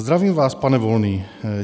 Zdravím vás, pane Volný.